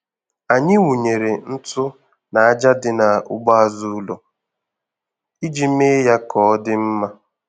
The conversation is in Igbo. Anyị wụnyere ntụ n'aja dị n'ugbo azụ ụlọ iji mee ya ka ọ dị mma.